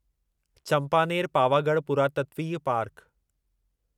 चंपानेर पावागढ़ पुरातत्वीय पार्क